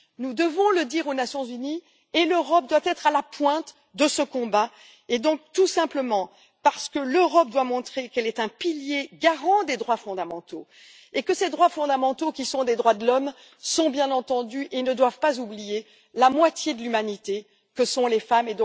Nous devons le dire aux Nations unies et l'Europe doit être à la pointe de ce combat, tout simplement parce que l'Europe doit montrer qu'elle est un pilier garant des droits fondamentaux et que ces droits fondamentaux qui sont les droits de l'homme ne doivent pas oublier la moitié de l'humanité que sont les femmes.